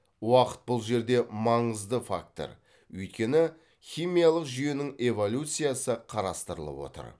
уақыт бұл жерде маңызды фактор өйткені химиялық жүйенің эволюциясы қарастырылып отыр